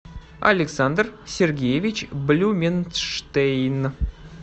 александр сергеевич блюменштейн